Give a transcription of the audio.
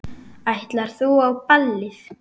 Ætlar þú á ballið?